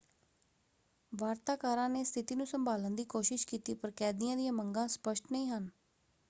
ਵਾਰਤਾਕਾਰਾਂ ਨੇ ਸਥਿਤੀ ਨੂੰ ਸੰਭਾਲਣ ਦੀ ਕੋਸ਼ਿਸ਼ ਕੀਤੀ ਪਰ ਕੈਦੀਆਂ ਦੀਆਂ ਮੰਗਾਂ ਸਪਸ਼ਟ ਨਹੀਂ ਹਨ।